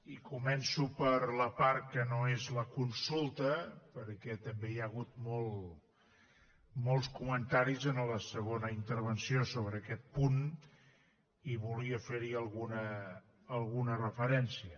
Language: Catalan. i començo per la part que no és la consulta perquè també hi ha hagut molts comentaris en la segona intervenció sobre aquest punt i volia fer hi alguna referència